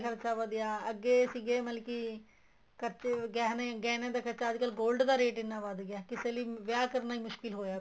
ਦਾ ਖਰਚਾ ਵਧਿਆ ਅੱਗੇ ਸੀਗੇ ਮਤਲਬ ਕੀ ਖਰਚੇ ਗਹਿਣੇ ਗਹਿਣੇ ਦਾ ਖਰਚਾ ਅੱਜ ਕੱਲ gold ਦਾ rate ਇੰਨਾਂ ਵੱਧ ਗਿਆ ਕਿਸੇ ਲਈ ਵਿਆਹ ਕਰਨਾ ਹੀ ਮੁਸ਼ਕਿਲ ਹੋਇਆ ਪਇਆ ਹੈ